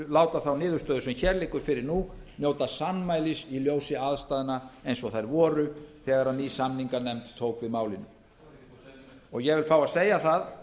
láta þá niðurstöðu sem hér liggur fyrir nú njóta sannmælis í ljósi aðstæðna eins og þær voru þegar ný samninganefnd tók við málinu ég vil fá að segja það